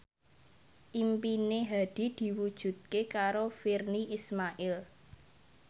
impine Hadi diwujudke karo Virnie Ismail